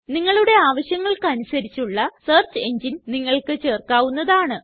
നിങ്ങളുടെ ആവശ്യങ്ങള്ക്കനുസരിച്ച് ഉള്ള സെർച്ച് എങ്ങിനെ നിങ്ങൾക്ക് ചേർക്കാവുന്നതാണ്